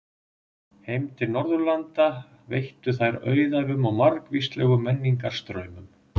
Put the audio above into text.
Heim til Norðurlanda veittu þær auðæfum og margvíslegum menningarstraumum.